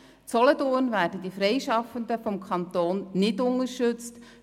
In Solothurn werden die Freischaffenden vom Kanton nicht unterstützt.